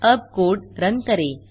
अब code run करें